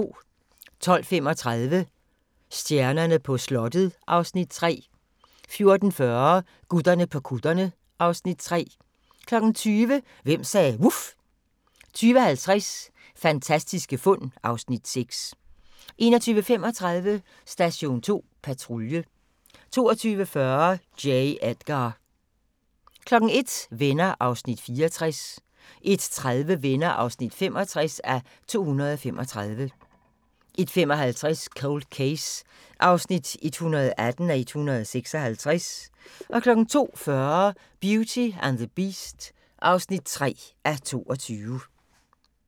12:35: Stjernerne på slottet (Afs. 3) 14:40: Gutterne på kutterne (Afs. 3) 20:00: Hvem sagde vuf? 20:50: Fantastiske fund (Afs. 6) 21:35: Station 2 Patrulje 22:40: J. Edgar 01:00: Venner (64:235) 01:30: Venner (65:235) 01:55: Cold Case (118:156) 02:40: Beauty and the Beast (3:22)